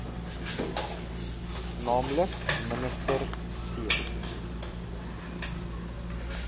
nl minister c